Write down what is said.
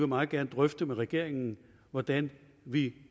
meget gerne drøfte med regeringen hvordan vi